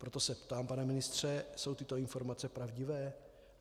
Proto se ptám, pane ministře: Jsou tyto informace pravdivé?